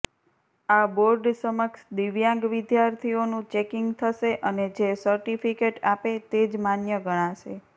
આ બોર્ડ સમક્ષ દિવ્યાંગ વિદ્યાર્થીઓનું ચેકિંગ થશે અને જે સર્ટિફિકેટ આપે તે જ માન્ય ગણાશે